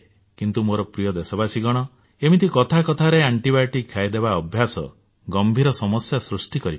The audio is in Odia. କିନ୍ତୁ ମୋର ପ୍ରିୟ ଦେଶବାସୀଗଣ ଏମିତି କଥା କଥାରେ ଆଣ୍ଟିବାୟୋଟିକ୍ ଖାଇଦେବା ଅଭ୍ୟାସ ଗମ୍ଭୀର ସମସ୍ୟା ସୃଷ୍ଟି କରିପାରେ